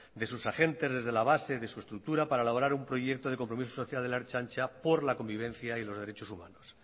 de sus agentes desde la base de su estructura para elaborar un proyecto de compromiso social de la ertzaintza por la convivencia y los derechos humanos